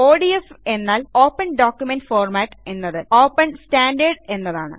ODF എന്നാൽ open document format എന്നത് open standard എന്നതാണ്